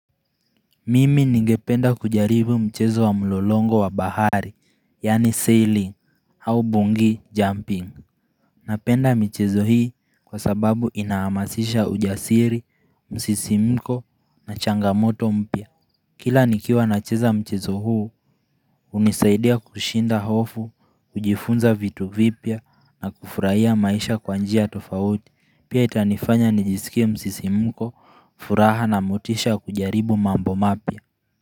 Mimi ningependa kujaribu mchezo wa mlolongo wa bahari yyani sailing au bungi jumping Napenda michezo hii kwa sababu inahamazisha ujasiri, msisimko na changamoto mpya Kila nikiwa nacheza mchezo huu hunisaidia kushinda hofu, kujifunza vitu vipya na kufurahia maisha kwa njia tofauti pia itanifanya nijisikie msisimko, furaha na motisha ya kujaribu mambo mapya.